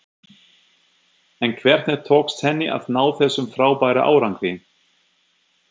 En hvernig tókst henni að ná þessum frábæra árangri?